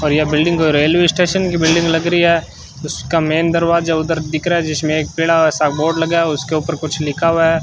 और यह building railway station की बिल्डिंग लग रही है उसका मेन दरवाजा उधर दिख रहा है जिसमें एक पीला सा बोर्ड लगा है उसके ऊपर कुछ लिखा हुआ है।